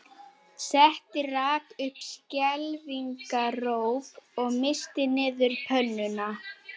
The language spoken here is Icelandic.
Setta rak upp skelfingaróp og missti niður pönnuna